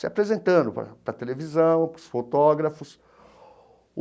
Se apresentando para para a televisão, para os fotógrafos.